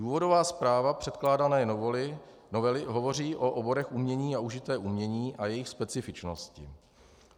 Důvodová zpráva předkládané novely hovoří o oborech umění a užité umění a jejich specifičnosti.